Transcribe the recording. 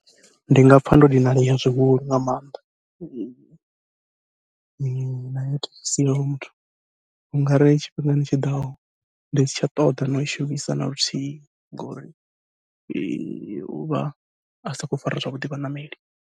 Ndi nga pfha ndo dinalea zwihulu nga maanḓa, na heyo thekhisi ya hoyo muthu u ngari tshifhingani tshiḓaho ndi si tsha ṱoḓa na ui shumisa naluthihi ngori uvha a sa khou fara zwavhuḓi vhaṋameli.